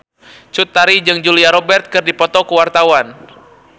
Cut Tari jeung Julia Robert keur dipoto ku wartawan